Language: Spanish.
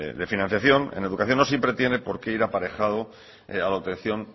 de financiación en educación no siempre tiene porqué ir aparejado a la obtención